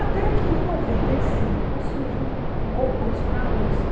Até que em noventa e cinco surge um concurso na Usp.